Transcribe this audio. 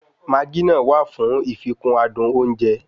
Maagí náà wà fún ìfikún adùn oúnjẹ